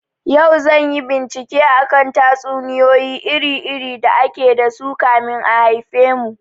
Yau zanyi bincike akan tatsuniyoyi iri iri da ake dasu kamin a haifemu